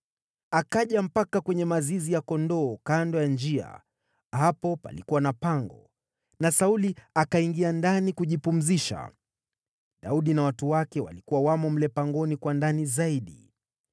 Akaja mpaka kwenye mazizi ya kondoo kando ya njia, hapo palikuwa na pango, na Sauli akaingia ndani kujipumzisha. Daudi na watu wake walikuwa wamo mle pangoni kwa ndani zaidi.